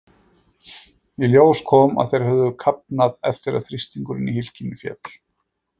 Í ljós kom að þeir höfðu kafnað eftir að þrýstingur í hylkinu féll.